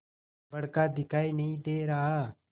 बड़का दिखाई नहीं दे रहा